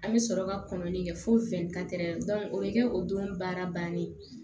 An bɛ sɔrɔ ka kɔnɔni kɛ fo o bɛ kɛ o don baara bannen ye